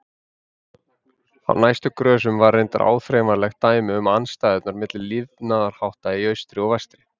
Á næstu grösum var reyndar áþreifanlegt dæmi um andstæðurnar milli lifnaðarhátta í austri og vestri.